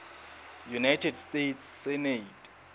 united states senate